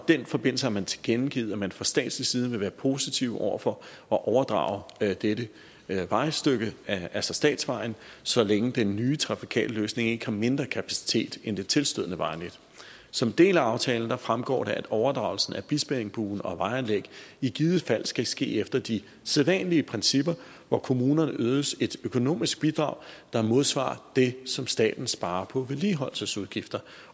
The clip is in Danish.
den forbindelse har man tilkendegivet at man fra statslig side vil være positiv over for at overdrage dette dette vejstykke altså statsvejen så længe den nye trafikale løsning ikke har mindre kapacitet end det tilstødende vejnet som en del af aftalen fremgår det at overdragelsen af bispeengbuen og vejanlæg i givet fald skal ske efter de sædvanlige principper hvor kommunerne ydes et økonomisk bidrag der modsvarer det som staten sparer på vedligeholdelsesudgifter